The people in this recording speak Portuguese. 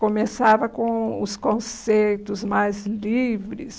Começava com os conceitos mais livres.